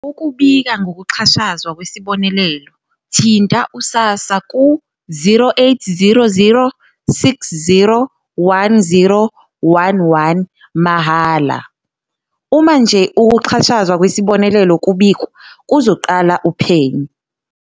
Ukubika ngokuxhashazwa kwesibonelelo, thinta u-SASSA ku-0800 60 10 11, mahhala."Uma nje ukuxhashazwa kwesibonelelo kubikwa, kuzoqala uphenyo."